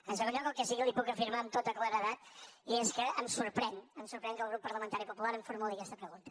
en segon lloc el que sí que li puc afirmar amb tota claredat és que em sorprèn em sorprèn que el grup parlamentari popular em formuli aquesta pregunta